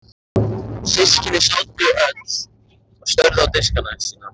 Systkini hennar sátu öll og störðu á diskana sína.